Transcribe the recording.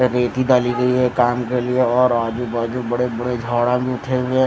ये रेती डाली गई है काम कर लिया और आजू बाजू बड़े बड़े झाड़ा भी उठे हुए है।